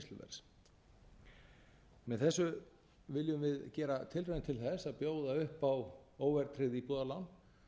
neysluverðs með þessu viljum við gera tilraun til þess að bjóða upp á óverðtryggð íbúðalán